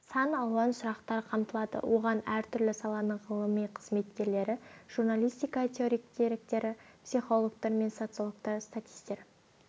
сан алуан сұрақтар қамтылады оған әртүрлі саланың ғылыми қызметкерлері журналистика теоретиктері психологтар мен социологтар статистер